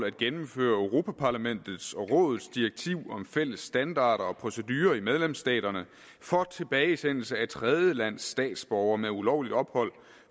at gennemføre europa parlamentets og rådets direktiv om fælles standarder og procedurer i medlemsstaterne for tilbagesendelse af tredjelandes statsborgere med ulovligt ophold